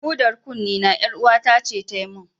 Hudar kunnena, ƴaruwata ce ta yi min.